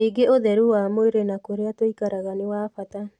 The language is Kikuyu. Ningĩ ũtheru wa mwĩrĩ na kũrĩa tũikaraga nĩ wa bata.